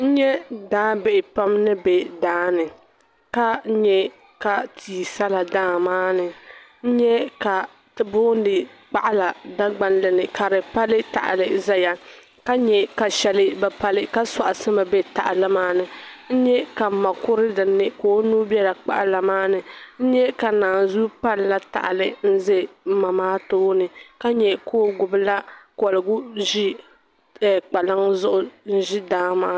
N nya daabihi pam ni be daa ni ka nya ka tia sala daa maa ni n nya ka ti puuni kpaɣila dagbanli ni ka di pali tahali zaya ka nya ka shɛli bi pali ka sɔɣisimi be tahali maa ni n nya ka m ma kuri dinni ka o nuu bela kpaɣila maa ni n nya ka naanzua palila tahali n-za m ma maa tooni ka nya ka o gbibila kɔligu ʒi ɛɛh kpalaŋa zuɣu n-ʒi daa maa ni.